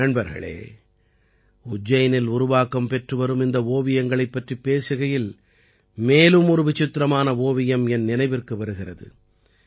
நண்பர்களே உஜ்ஜைனில் உருவாக்கம் பெற்று வரும் இந்த ஓவியங்களைப் பற்றிப் பேசுகையில் மேலும் ஒரு விசித்திரமான ஓவியம் என் நினைவிற்கு வருகிறது